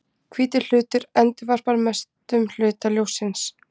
Hvítur hlutur endurvarpar mestum hluta ljóssins.